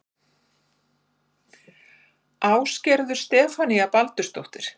Ásgerður Stefanía Baldursdóttir